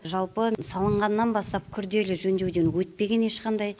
жалпы салынғаннан бастап күрделі жөндеуден өтпеген ешқандай